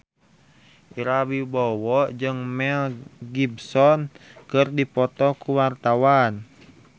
Ira Wibowo jeung Mel Gibson keur dipoto ku wartawan